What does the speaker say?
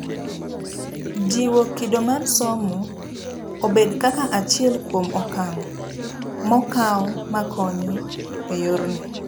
Jiwo kido mar somo obed kaka achiel kuom okang' mokaw makonyo eyorni.